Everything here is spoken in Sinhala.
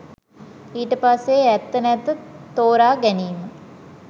ඊට පස්සේ ඇත්ත නැත්ත තෝරාගැනීම